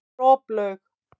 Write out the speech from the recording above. Droplaug